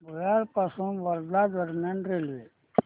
भुयार पासून वर्धा दरम्यान रेल्वे